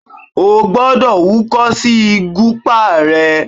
O gbọ́dọ̀ húkọ́ sí ìgúpá ẹ!